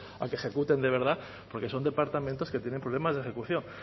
a que ejecuten de verdad porque son departamentos que tienen problemas de ejecución